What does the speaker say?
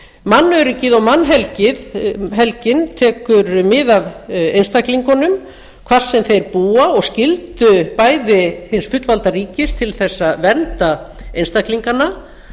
mannöryggið og mannhelgi tekur mið af einstaklingunum hvar sem þeir búa og skyldu bæði hins fullvalda ríkis til að vernda einstaklingana